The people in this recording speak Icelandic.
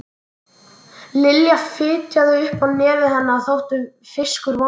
Það er ekki svarið sem þið vilduð fá.